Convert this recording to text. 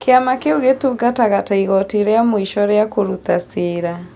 Kĩama kĩu gĩatungataga ta igooti rĩa mũico rĩa kũruta cira